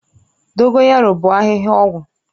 Dogoyaru bụ ahịhịa ọgwụ